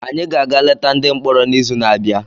Anyị ga-aga leta ndị mkpọrọ n’izu n'abịa.